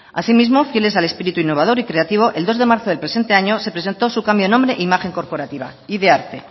asimismo fieles al espíritu innovador y creativo el dos de marzo del presente año se presentó su cambio de nombre e imagen corporativa id arte